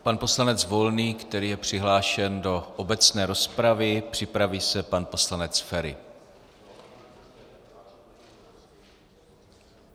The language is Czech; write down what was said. Pan poslanec Volný, který je přihlášen do obecné rozpravy, připraví se pan poslanec Feri.